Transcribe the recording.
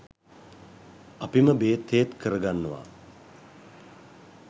අපිම බේත් හේත් කරගන්නවා.